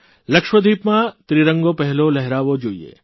લક્ષદ્વિપમાં તિરંગો પહેલો લહેરાવો જોઇએ